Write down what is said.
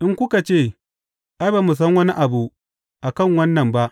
In kuka ce, Ai, ba mu san wani abu a kai wannan ba,